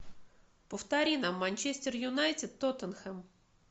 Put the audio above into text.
повтори нам манчестер юнайтед тоттенхэм